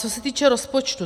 Co se týče rozpočtu.